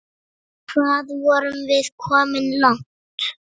Hvað vorum við komin langt?